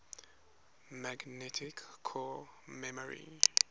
magnetic core memory